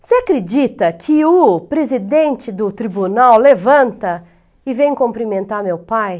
Você acredita que o presidente do tribunal levanta e vem cumprimentar meu pai?